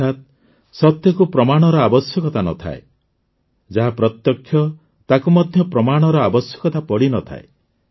ଅର୍ଥାତ୍ ସତ୍ୟକୁ ପ୍ରମାଣର ଆବଶ୍ୟକତା ନ ଥାଏ ଯାହା ପ୍ରତ୍ୟକ୍ଷ ତାକୁ ମଧ୍ୟ ପ୍ରମାଣର ଆବଶ୍ୟକତା ପଡ଼ିନଥାଏ